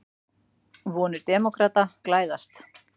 Vonir demókrata glæðast